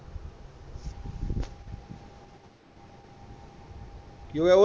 ਕਿ ਹੋਇਆ